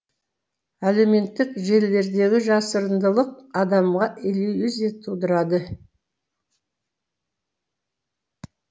әлеуметтік желілердегі жасырындылық адамға иллюзия тудырады